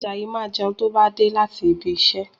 Àjàyí máa jẹun tó bá dé láti ibi iṣẹ́